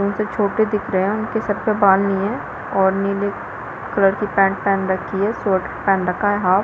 उनसे छोटे दिख रहे है उनके सर पर बाल नहीं है और नीले कलर की पैंट पेहन रखी है स्वेटर पेहन रखा है हाफ --